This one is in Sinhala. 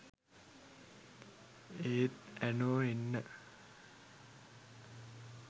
ඒත් ඇනෝ එන්න